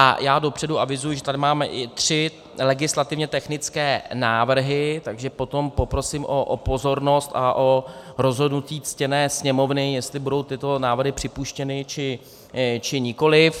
A já dopředu avizuji, že tady máme i tři legislativně technické návrhy, takže potom poprosím o pozornost a o rozhodnutí ctěné Sněmovny, jestli budou tyto návrhy připuštěny, či nikoliv.